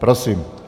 Prosím.